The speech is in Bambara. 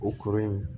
O kɔrɔ ye